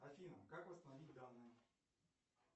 афина как восстановить данные